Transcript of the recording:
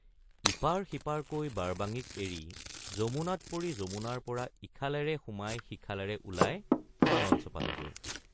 ইপাৰ সিপাৰকৈ বাৰবাঙিক এৰি যমুনাত পৰি যমুনাৰপৰা ইখালেৰে সোমাই সিখালেৰে ওলাই মালঞ্চ পালোগৈ।